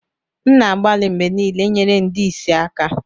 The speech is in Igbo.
M na-agbalị mgbe niile inyere ndị ìsì aka